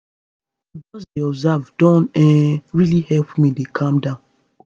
to just dey observe don um really help me dey calm down